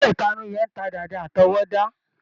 Ilé-ìtarun yẹn ń ta dàda àtọwọ́dá.